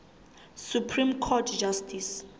supreme court justice